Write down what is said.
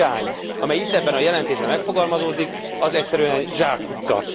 De az az irány, amely itt ebben a jelentésben megfogalmazódik, az egyszerűen zsákutca.